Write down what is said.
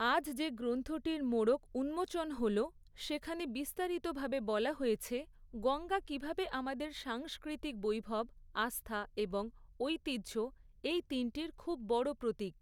আজ যে গ্রন্থটির মোড়ক উন্মোচন হল, সেখানে বিস্তারিতভাবে বলা হয়েছে গঙ্গা কিভাবে আমাদের সাংস্ক্রৃতিক বৈভব, আস্থা এবং ঐতিহ্য এই তিনটির খুব বড় প্রতীক।